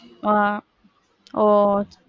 ஆஹ் ஒ,